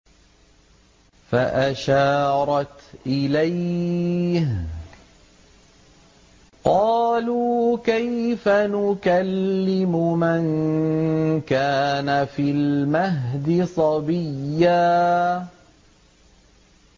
فَأَشَارَتْ إِلَيْهِ ۖ قَالُوا كَيْفَ نُكَلِّمُ مَن كَانَ فِي الْمَهْدِ صَبِيًّا